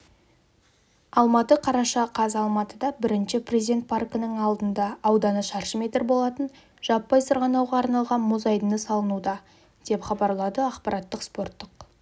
алматы қараша қаз алматыда бірінші президент паркінің алдындаауданы шаршы метр болатын жаппай сырғанауға арналған мұз айдыны салынуда деп хабарлады ақпараттық спорттық